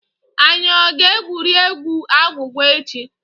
Anyị ọ ga-egwurie egwu agwụgwa echi?